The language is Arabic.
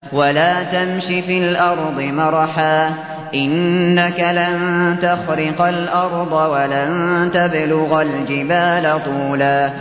وَلَا تَمْشِ فِي الْأَرْضِ مَرَحًا ۖ إِنَّكَ لَن تَخْرِقَ الْأَرْضَ وَلَن تَبْلُغَ الْجِبَالَ طُولًا